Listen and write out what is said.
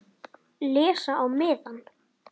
Les á miðann.